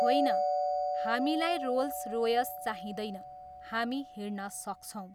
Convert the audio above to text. होइन, हामीलाई Rolls Royce चाहिँदैन, हामी हिँड्न सक्छौँ।